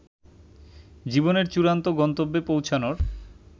জীবনের চূড়ান্ত গন্তব্যে পৌঁছানোর